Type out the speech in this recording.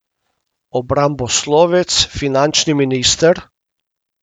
Obramboslovec finančni minister?